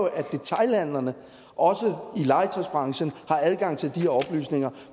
at detailhandlerne også i legetøjsbranchen har adgang til de oplysninger